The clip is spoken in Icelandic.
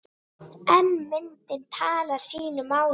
En myndin talar sínu máli.